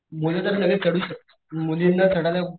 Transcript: मुलं तर लगेच चढू शकतात पण मुलींना चढायला,